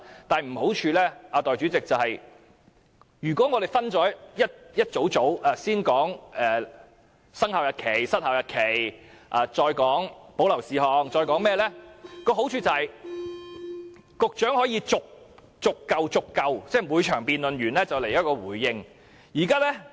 代理主席，如果把修正案內容分為數組，先討論生效日期、失效日期，再討論保留事項及其他，好處是局長可以在每場辯論結束後作出回應。